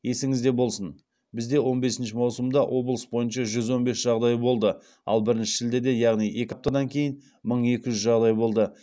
есіңізде болсын бізде рн бесінші маусымда облыс бойынша жүз он бес жағдай болды ал бірінші шілдеде яғни екі аптадан кейін мың екі жүз жағдай болды